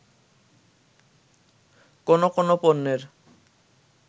কোন কোন পণ্যের